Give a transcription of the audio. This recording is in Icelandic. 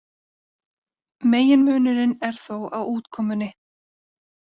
Meginmunurinn er þó á útkomunni.